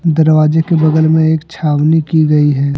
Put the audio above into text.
दरवाजे के बगल में एक छावनी की गई है।